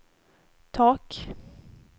tak